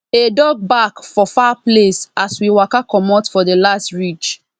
a dog bark for far place as we waka comot for the last ridge